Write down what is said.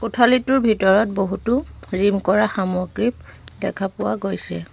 কোঠালীটোৰ ভিতৰত বহুতো জিম কৰা সামগ্ৰী দেখা পোৱা গৈছে।